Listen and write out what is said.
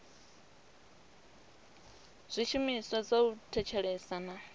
zwishumiswa zwa u thetshelesa na